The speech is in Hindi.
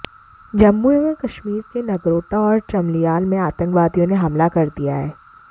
जम्मू एवं कश्मीर के नगरोटा और चमलियाल में आतंकवादियों ने हमला कर दिया है